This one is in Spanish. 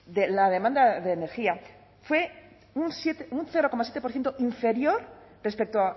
la demanda de energía fue un cero coma siete por ciento inferior respecto